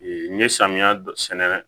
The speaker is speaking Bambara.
n ye samiya dɔ sɛnɛ